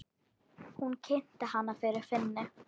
Hún kynnti hana fyrir Finni.